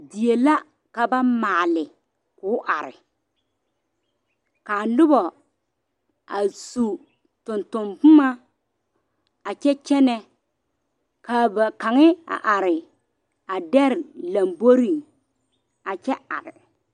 Die la ka ba maale ko'o are kaa noba a su tonton boma a kyɛ kyɛne kaa ba kaŋa a are a dare lanbore a kyɛ are.